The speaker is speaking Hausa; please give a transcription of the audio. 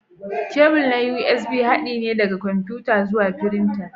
Kebul na USB haɗi ne daga kwamfuta zuwa firinta.